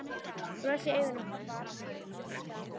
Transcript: Bros í augum pabba allan þann dag.